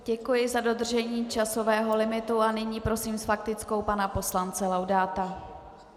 Děkuji za dodržení časového limitu a nyní prosím s faktickou pana poslance Laudáta.